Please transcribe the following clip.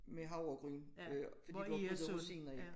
Med havregryn øh fordi du har puttet rosiner i